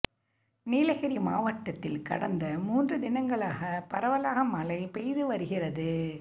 நீலகிரி மாவட்டத்தில் கடந்த மூன்று தினங்களாகப் பரவலாக மழை பெய்து வருகிறது